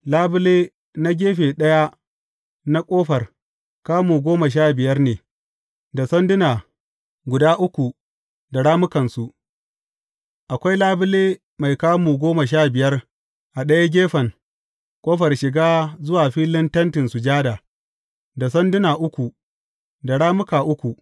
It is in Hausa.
Labule na gefe ɗaya na ƙofar, kamu goma sha biyar ne, da sanduna guda uku da rammukansu, akwai labule mai kamu goma sha biyar a ɗayan gefen ƙofar shiga zuwa filin Tentin Sujada, da sanduna uku da rammuka uku.